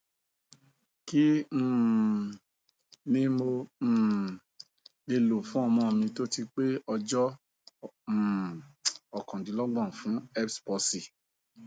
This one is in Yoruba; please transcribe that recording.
kí um ni mo um le lo fún ọmọ mi tó ti pé ọjọ um okandinlogbon fun erbs palsy